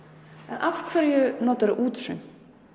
af hverju notarðu útsaum